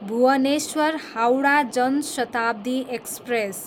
Bhubaneswar, Howrah Jan Shatabdi express